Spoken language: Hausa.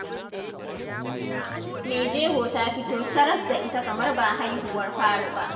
Maijego ta fito caras da ita kamar ba haihuwar fari ba.